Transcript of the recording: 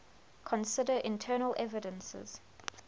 consider internal evidences